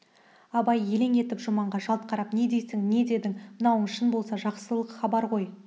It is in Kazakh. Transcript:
абай елең етіп жұманға жалт қарап не дейсің не дедің мынауың шын болса жақсылық хабар ғой